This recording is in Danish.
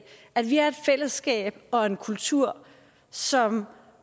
at vi er et fællesskab og en kultur som